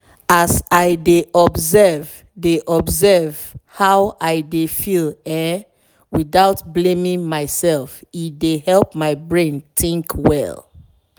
as i dey observe dey observe how i dey feel[um]without blaming myself e dey help my brain think well